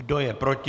Kdo je proti?